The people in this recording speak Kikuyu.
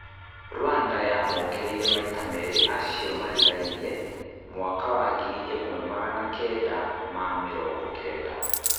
Rwanda yamokĩrĩire maita merĩ acio marigainie, mwaka wa ngiri ĩmwe magana Kenda ma mĩrongo Kenda